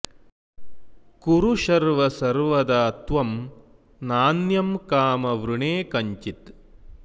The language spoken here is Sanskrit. कुरु शर्व सर्वदा त्वं नान्यं कामं वृणे कञ्चित्